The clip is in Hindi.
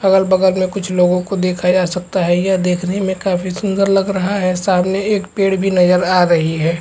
अगल - बगल में कुछ लोगों को देखा जा सकता है यह देखने में काफी सुन्दर लग रहा है सामने एक पेड़ भी नजर आ रही है।